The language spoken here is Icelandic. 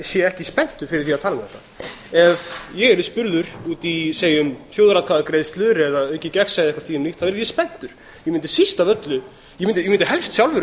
sé ekki spenntur fyrir því að tala um þetta ef ég yrði spurður út í þjóðaratkvæðagreiðslur eða aukið gegnsæi eitthvað því um líkt yrði ég spenntur ég mundi helst sjálfur